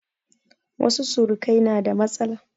Wasu surukai na da matsala.